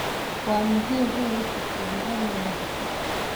Waa muhiim in la tixgeliyo amniga xusuusta.